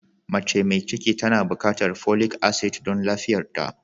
Mace mai ciki tana bukatar folic asid don lafiyarta.